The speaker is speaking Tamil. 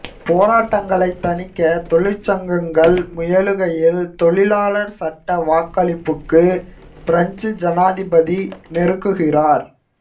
போராட்டங்களை தணிக்க தொழிற்சங்கங்கள் முயலுகையில் தொழிலாளர் சட்ட வாக்களிப்புக்கு பிரெஞ்சு ஜனாதிபதி நெருக்குகிறார்